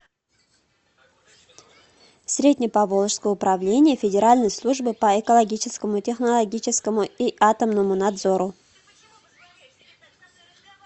средне поволжское управление федеральной службы по экологическому технологическому и атомному надзору